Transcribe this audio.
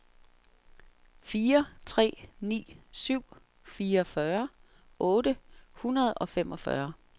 fire tre ni syv fireogfyrre otte hundrede og femogfyrre